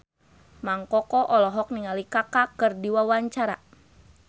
Mang Koko olohok ningali Kaka keur diwawancara